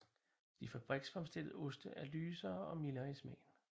De fabriksfremstillede oste er lysere og mildere i smagen